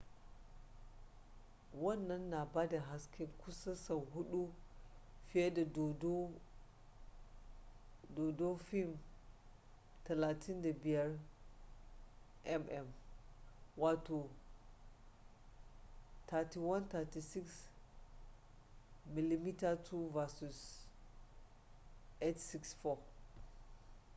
wannan na bada haske kusan sau huɗu fiye da dodo fim 35 mm 3136 mm2 versus 864